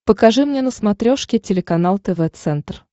покажи мне на смотрешке телеканал тв центр